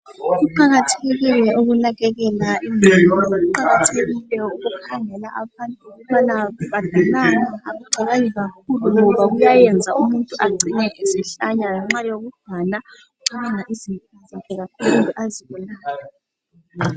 Kuqakathekile ukunakekela imuli, kuqakathekile ukukhangela abantu ukubana babonani, abacabangi kakhulu ngoba kuyayenza umuntu angcina esehlanya ngenxa yokucabanga izinto zakhe kakhulu azibonayo.